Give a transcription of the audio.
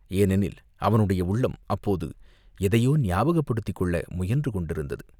ஏனெனில் அவனுடைய உள்ளம் அப்போது எதையோ ஞாபகப்படுத்திக் கொள்ள முயன்றுகொண்டிருந்தது.